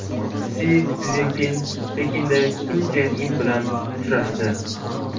Si Szinpin Pekinda Kim Chen In bilan uchrashdi.